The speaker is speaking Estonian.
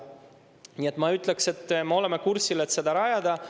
Nii et ma ütleks, et me oleme kursil, et seda rajada.